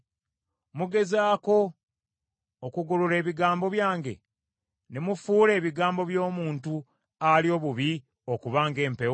Mugezaako okugolola ebigambo byange, ne mufuula ebigambo by’omuntu ali obubi okuba ng’empewo?